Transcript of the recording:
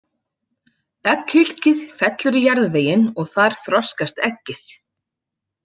Egghylkið fellur í jarðveginn og þar þroskast eggið.